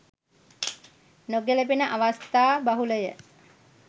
නොගැලපෙන අවස්ථා බහුලය.